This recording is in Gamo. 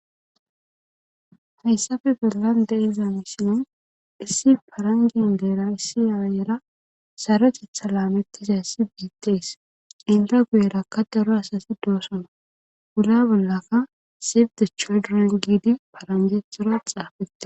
hayssafe gollan de iza misino issi parangin deera issi ayera sarotetha laamettisa sibiteys ilra guyerakka daro asasi doosona gura bollaka sibde choduron giidi paranjethora xaafette